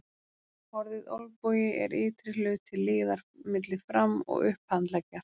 Orðið olnbogi er ytri hluti liðar milli fram- og upphandleggjar.